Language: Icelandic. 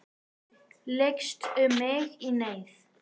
Lykst um mig í neyð.